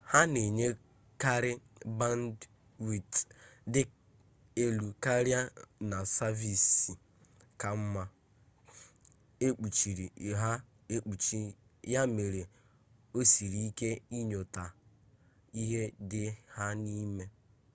ha na-enyekarị bandwidth dị elu karịa na saviisi ka mma ekpuchiri ha ekpuchi ya mere o siri ike inyota ihe dị ha n'ime